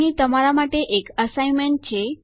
અહીં તમારા માટે એક અસાઇન્મેન્ટ છે